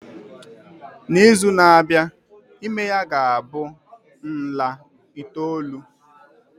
N'izu na-abịa, ime ya ga-abụ nla itoolu.